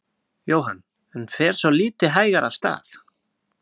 Jóhann: En fer svolítið hægar af stað?